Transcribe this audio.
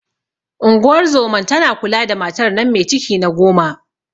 Unguwar zoman tana kula da matar nan me ciki na goma.